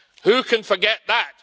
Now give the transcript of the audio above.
Who can forget that?